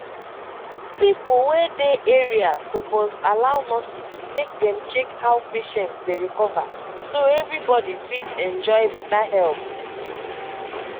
pipo wey dey area suppose allow nurses make dem check how patients dey recover so everybody fit enjoy better help.